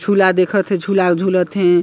झूला देखत हे झूला झूलत हे।